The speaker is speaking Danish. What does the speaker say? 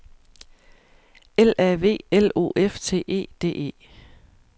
L A V L O F T E D E